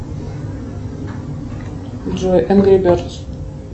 джой энгри бердс